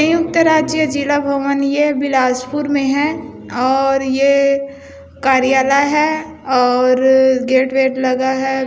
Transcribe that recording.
ये उतर राज्य जिला भवन है यह बिलासपुर में है और ये कार्यालय है और गेट वेट लगा है।